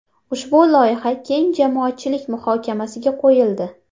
Ushbu loyiha keng jamoatchilik muhokamasiga qo‘yildi.